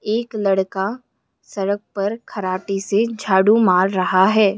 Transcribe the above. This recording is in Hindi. एक लड़का सड़क पर खराटी से झाड़ू मार रहा है।